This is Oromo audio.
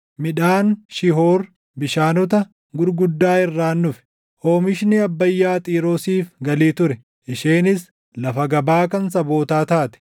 Midhaan Shihoor bishaanota gurguddaa irraan dhufe; oomishni Abbayyaa Xiiroosiif galii ture; isheenis lafa gabaa kan sabootaa taate.